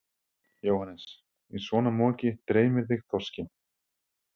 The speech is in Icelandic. Jóhannes: Í svona moki dreymir þig þorskinn?